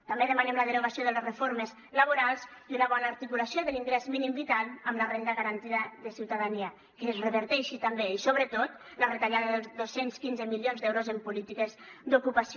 també demanem la derogació de les reformes laborals i una bona articulació de l’ingrés mínim vital amb la renda garantida de ciutadania que es reverteixi també i sobretot la retallada dels dos cents i quinze milions d’euros en polítiques d’ocupació